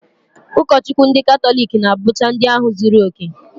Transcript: Ụkọchukwu ndị katọlik na-abụcha ndị ahụ zuru okè